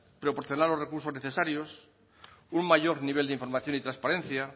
proporcionar los recursos necesarios un mayor nivel de información y trasparencia